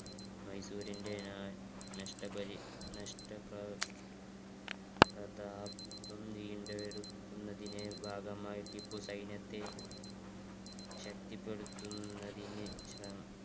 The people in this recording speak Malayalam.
മൈസൂറിന്റെ നഷ്ടപരി~ നഷ്ട~ വീണ്ടെടുക്കുന്നതിന്റെ ഭാഗമായി ടിപ്പു സൈന്യത്തെ ശക്തിപ്പെടുത്തുന്നതിന്